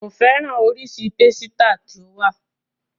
Ko fẹ́ràn oríṣiríṣi pásítà tó wà